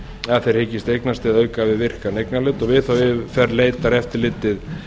að þeir hyggist eignast eða auka við virkan eignarhlut við þá yfirferð leitar eftirlitið